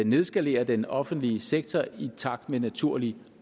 nedskalere den offentlige sektor i takt med naturlig